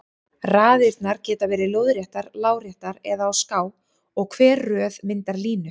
Raðirnar geta verið lóðréttar, láréttar eða á ská og hver röð myndar línu.